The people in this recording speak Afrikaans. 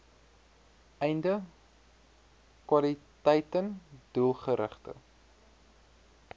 einde kwaliteiten doelgerigte